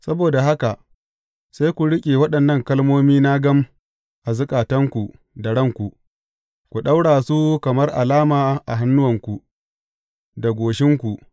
Saboda haka, sai ku riƙe waɗannan kalmomina gam a zukatanku da ranku; ku ɗaura su kamar alama a hannuwanku, da goshinku.